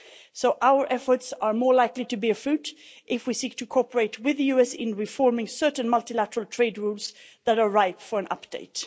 So our efforts are more likely to bear fruit if we seek to cooperate with the US in reforming certain multilateral trade rules that are ripe for an update.